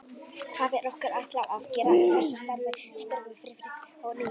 Hvað er okkur ætlað að gera í þessu starfi? spurði Friðrik að nýju.